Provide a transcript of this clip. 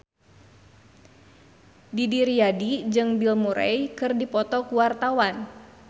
Didi Riyadi jeung Bill Murray keur dipoto ku wartawan